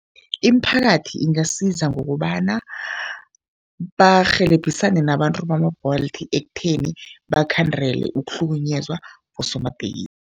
Imiphakathi ingasiza ngokobana barhelebhisane nabantu bama-Bolt ekutheni bakhandele ukuhlukunyezwa bosomatekisi.